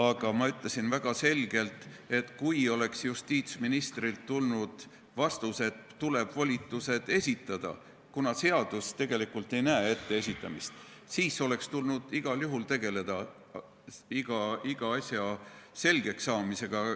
Aga ma ütlesin väga selgelt, et kui justiitsministrilt oleks tulnud vastus, et tuleb volitused esitada , oleks tulnud igal juhul tegeleda iga asja selgeks saamisega.